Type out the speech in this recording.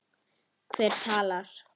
Hver talar?